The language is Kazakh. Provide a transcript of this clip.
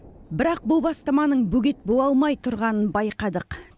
бірақ бұл бастаманың бөгет бола алмай тұрғанын байқадық